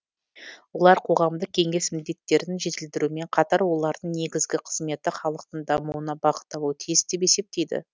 олар қоғамдық кеңес міндеттерін жетілдірумен қатар олардың негізгі қызметі халықтың дамуына бағытталуы тиіс деп есептейді